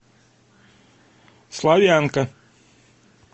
славянка